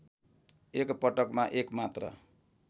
एकपटकमा एक मात्र